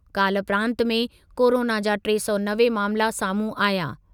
काल्ह प्रांत में कोरोना जा टे सौ नवे मामिला साम्हूं आहिया।